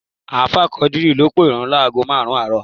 Ààfáà Quadri ló pèrun láágo márùn-ún àárọ̀